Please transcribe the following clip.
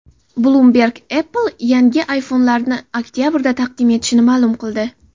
Bloomberg Apple yangi iPhone’larini oktabrda taqdim etishini ma’lum qildi.